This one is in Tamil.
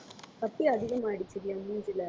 கட்டி அதிகமாயிடுச்சுடி என் மூஞ்சியில